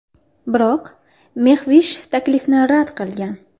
Biroq Mexvish taklifni rad qilgan.